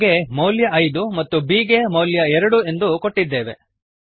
a ಗೆ ಮೌಲ್ಯ ಐದು ಮತ್ತು b ಗೆ ಮೌಲ್ಯ ಎರಡು ಎಂದೂ ಕೊಟ್ಟಿದ್ದೇವೆ